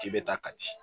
K'i bɛ taa ka di